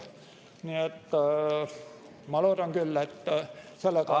Nii et ma loodan küll, et sellega on ...